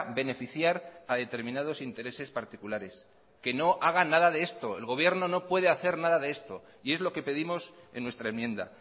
beneficiar a determinados intereses particulares que no haga nada de esto el gobierno no puede hacer nada de esto y es lo que pedimos en nuestra enmienda